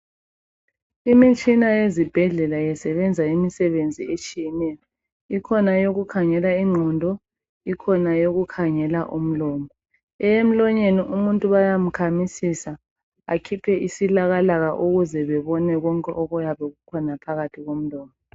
Imitshina yezibhedlela isebenza imisebenzi etshiyeneyo, ikhona eyokukhangela ingqondo, ikhona eyokukhangela imlomo. Eyemlonyeni umuntu bayamkhamisisa akhuphe isilakalaka ukuze bebone konke okuyabe kukhona phakathi komlomo.